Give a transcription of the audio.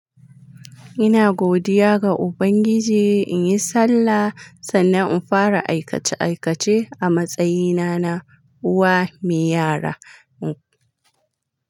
Ina godiya ga Ubangiji in yi sallah, sannan in fara aikace aikace a matsayina na uwa me yara.